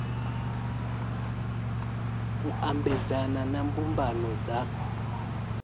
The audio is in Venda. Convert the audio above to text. u ambedzana na mbumbano dza